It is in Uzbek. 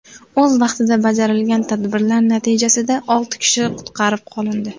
O‘z vaqtida bajarilgan tadbirlar natijasida olti kishi qutqarib qolindi.